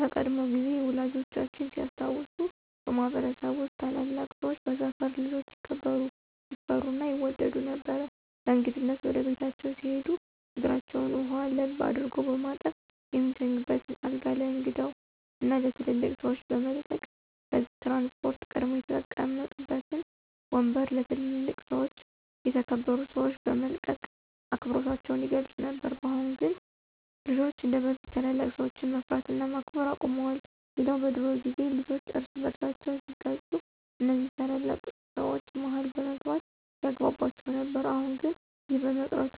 በቀድሞ ጊዜ ወላጆቻችን ሲያስታውሱ በማህበረሰብ ውስጥ ታላላቅ ሰወች በሰፈር ልጆች ይከበሩ፣ ይፈሩ እና ይወደዱ ነበር። በእንግድነት ወደ ቤታቸው ሲሄዱ እግራቸውን ውሃ ለብ አድርጎ በማጠብ፣ የሚተኙበትን አልጋ ለእንግዳው እና ለትልልቅ ሰወች በመልቀቅ፤ በህዝብ ትራንስፖርት ቀድመው የተቀመጡበትን ወምበር ለ ትልልቅ እና የተከበሩ ሰወች በመልቀቅ አክብሮታቸውን ይገልፁ ነበር። በአሁን ግን ልጆች እንደበፊት ታላላቅ ሰወችን መፍራት እና ማክበር አቁመዋል። ሌላው በድሮ ጊዜ ልጆች እርስ በርሳቸው ሲጋጩ እነዚ ታላላቅ ሰወች መሀል በመግባት ያግቧቧቸው ነበር። አሁን ላይ ይህ በመቅረቱ